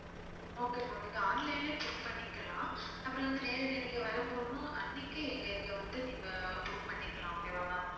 okay ma'am நீங்க online லயே book பண்ணிக்கலாம் அப்புறம் வந்து நேரடியா நீங்க வரும்போதும் அன்னைக்கே எங்க இதுல வந்து நீங்க book பண்ணிக்கலாம் okay வா ma'am